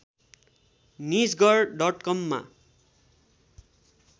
Nijgadh डटकममा